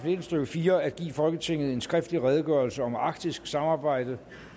nitten stykke fire at give folketinget en skriftlig redegørelse om arktisk samarbejde